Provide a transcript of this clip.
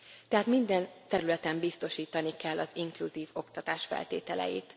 tehát minden területen biztosítani kell az inkluzív oktatás feltételeit.